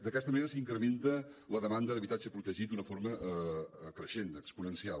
d’aquesta manera s’incrementa la demanda d’habitatge protegit d’una forma creixent exponencial